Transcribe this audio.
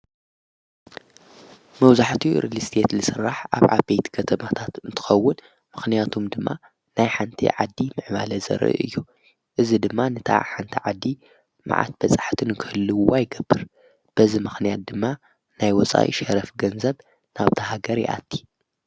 መውዙሕቲ ርልስየት ልሥራሕ ኣብ ኣበይት ከተማኽታት ንትኸውን ምኽንያቱም ድማ ናይ ሓንቲ ዓዲ ምዕማለ ዘር እዩ እዝ ድማ ንታ ሓንቲ ዓዲ መዓት በጻሕትን ክህልዉ ኣይገብር በዝ ምኽንያት ድማ ናይ ወፃይ ሸረፍ ገንዘብ ናብታ ሃገር የኣቲ።